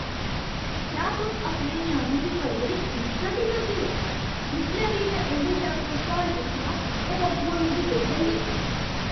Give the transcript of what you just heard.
क्या तुस अपने ञ्याणें दी परवरश इस चाल्ली करदे ओ? जिसलै बी में उं'दे शा कोई सुआल पुच्छनां, ओह् अग्गुआं मिगी पेई जंदे न।